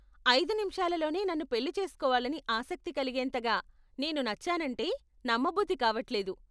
ఐదు నిముషాలలోనే నన్ను పెళ్లి చేస్కోవాలని ఆసక్తి కలిగేంతగా నేను నచ్చానంటే నమ్మబుద్ధి కావట్లేదు.